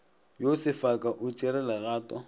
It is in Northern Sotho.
yo sefaka o tšere legato